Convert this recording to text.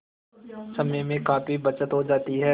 समय में काफी बचत हो जाती है